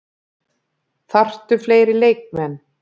Þarftu fleiri leikmenn?